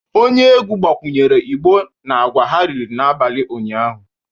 Onye egwu gbakwunyere igbo na agwa ha riri n'abalị ụnyahụ